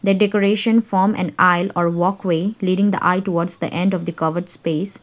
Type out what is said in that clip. the decoration form an oil or walkway leading the eye towards the end of the covered space.